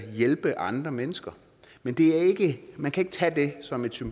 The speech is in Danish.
hjælpe andre mennesker men man kan ikke tage det som et